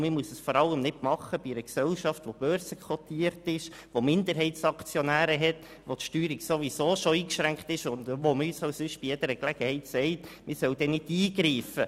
Vor allem muss man es nicht bei einer börsenkotierten Gesellschaft machen, bei der es Minderheitsaktionäre gibt, die Steuerung ohnehin schon eingeschränkt ist und man uns auch sonst bei jeder Gelegenheit sagt, man solle nicht eingreifen.